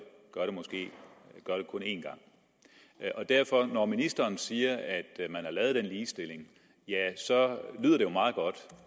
en gang når ministeren siger at man har lavet den ligestilling lyder det jo meget godt